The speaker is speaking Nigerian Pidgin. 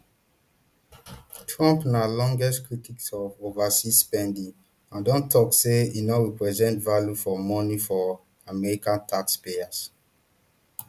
trump na longterm critic of overseas spending and don tok say e no represent value for money for american taxpayers